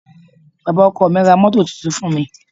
Bàbá ọkọ mi máá ra mọ́tò tuntun fún mi.